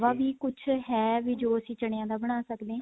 ਵੀ ਕੁੱਝ ਹੈ ਜੋ ਅਸੀਂ ਚਨਿਆ ਦਾ ਬਣਾ ਸਕਦੇ ਹਾਂ